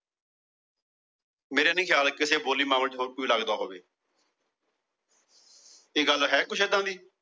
ਮੇਰੇ ਨਹੀ ਖਿਆਲ ਚ ਕਿਸੇ ਬੋਲੀ ਮਾਮਲੇ ਚ ਹੋਰ ਕਿੱਤੇ ਲੱਗਦਾ ਹੋਵੇ। ਇਹ ਗੱਲ ਹੈ ਕੁਛ ਏਦਾਂ ਦੀ ।